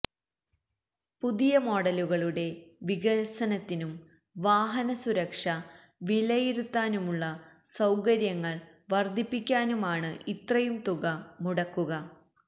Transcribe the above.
പുതിയ മോഡലുകളുടെ വികസനത്തിനും വാഹന സുരക്ഷ വിലയിരുത്താനുള്ള സൌകര്യങ്ങള് വര്ധിപ്പിക്കാനുമാണു ഇത്രയും തുക മുടക്കുക